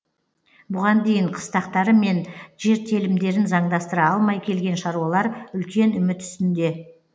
бұған дейін қыстақтары мен жер телімдерін заңдастыра алмай келген шаруалар үлкен үміт үстінде